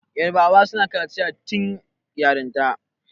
yarabawa suna kaciya tun yarinya